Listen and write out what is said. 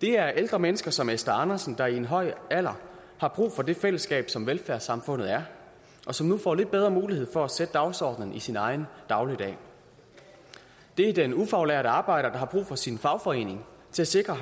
det er ældre mennesker som esther andersen der i en høj alder har brug for det fællesskab som velfærdssamfundet er og som nu får lidt bedre mulighed for at sætte dagsordenen i sin egen dagligdag det er den ufaglærte arbejder der har brug for sin fagforening til at sikre